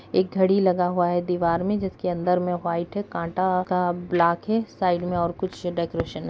एक घड़ी लगा हुए है दीवार में जिसके अंदर में व्हाइट है कांटा का ब्लैक है साइड में और कुछ डेकरैशन है।